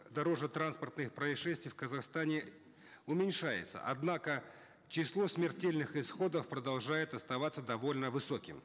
дорожно транспортных происшествий в казахстане уменьшается однако число смертельных исходов продолжает оставаться довольно высоким